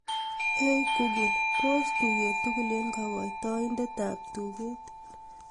ei google pos tuget tugul en kogoitoindet ab tuget